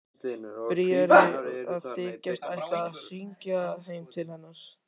Bríarí að þykjast ætla að hringja heim til hennar.